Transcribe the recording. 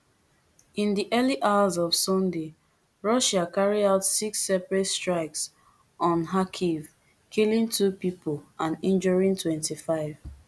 in di early hours of sunday russia carry out six separate strikes on kharkiv killing two pipo and injuring twenty-five